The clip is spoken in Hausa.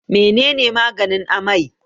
menene maganin amai?